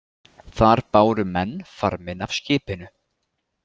Þar báru menn farminn af skipinu.